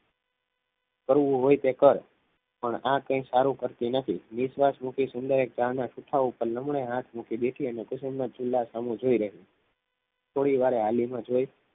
કરવું હોય તે કર પણ આ કંઈ સારું કરતી નથી વિશ્વાસ મૂકી સુંદરે કાકીના ખિસ્સા ઉપર લમડે હાથ મૂકી બેઠી અને કુસુમના ચૂલા સામું જોઈ લઈ થોડીવાર હાલીને જોઈ